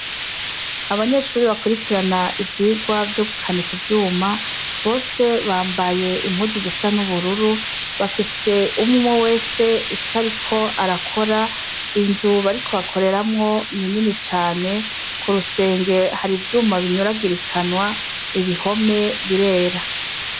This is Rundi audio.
abanyeshuri bakurikirana ivyigwa vyo gukanika ivyuma, bose bambaye impuzu zisa n'ubururu, bafise umwumwe wese ico ariko arakora, inzu bariko bakoreramwo ni nini cane, ku rusenge hari ivyuma binyuragirikanwa ibihome birera.